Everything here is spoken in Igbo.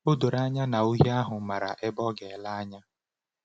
O doro anya na ohi ahụ maara ebe ọ ga-ele anya.